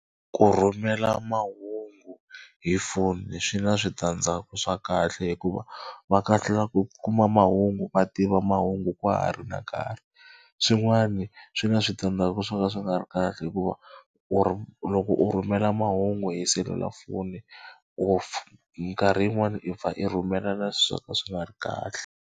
Ku rhumela mahungu hi foni swi na switandzhaku swa kahle hikuva va kahlula ku kuma mahungu va tiva mahungu na nkarhi. Swin'wana swi na switandzhaku swo ka swi nga ri kahle hikuva u loko u rhumela mahungu hi selulafoni or mikarhi yin'wani i pfa i rhumela na swi swo ka swi nga ri kahle.